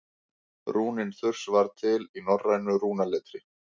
rúnin þurs var til í norrænu rúnaletri